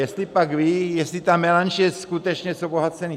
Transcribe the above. Jestlipak ví, jestli ta melanž je skutečně z obohacených...